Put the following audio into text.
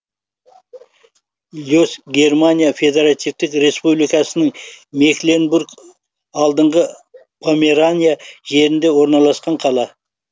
лец германия федеративтік республикасының мекленбург алдыңғы померания жерінде орналасқан қала